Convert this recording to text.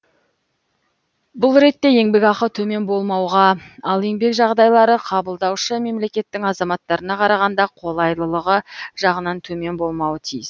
бұл ретте еңбекақы төмен болмауға ал еңбек жағдайлары қабылдаушы мемлекеттің азаматтарына қарағанда қолайлылығы жағынан төмен болмауы тиіс